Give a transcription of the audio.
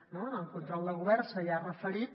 no en el control al govern s’hi ha referit